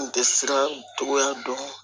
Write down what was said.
N tɛ siran togoya dɔn